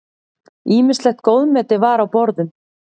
Ýmislegt góðmeti var á borðum.